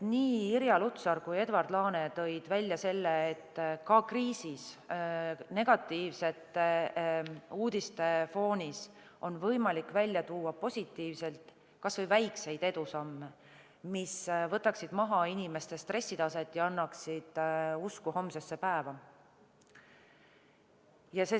Irja Lutsar ja Edward Laane tõid välja selle, et ka kriisis olles on negatiivsete uudiste foonil võimalik välja tuua positiivset, kas või väikseid edusamme, mis võtaksid maha inimeste stressitaset ja annaksid usku homsesse päeva.